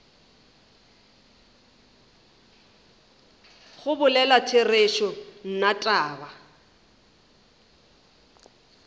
go bolela therešo nna taba